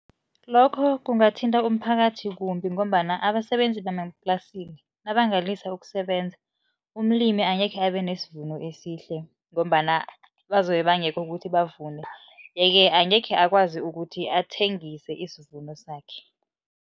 Lokho kungathinta umphakathi kumbi ngombana abasebenzi nabangalisa ukusebenza umlimi angekhe abenesvuno esihle. Ngombana bazobe bangekho ukuthi bavune yeke angekhe akwazi ukuthi athengise isivuno sakhe.